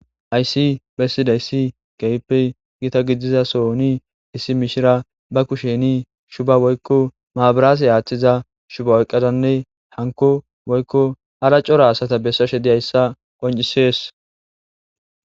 Haysi pesida issi gayippey giita gidiza sohoni issi mishira ba kusheni shuba woykko maabiraase aaththiza shuba oyqqadanne hanko woykko ara cora asata bessashe di hayssa qoncisees